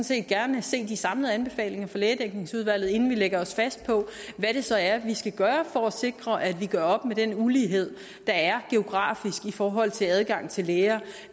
set gerne se de samlede anbefalinger fra lægedækningsudvalget inden vi lægger os fast på hvad det så er vi skal gøre for at sikre at vi gør op med den ulighed der er geografisk i forhold til adgang til læger